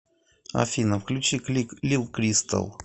афина включи клик лил кристал